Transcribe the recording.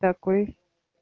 такой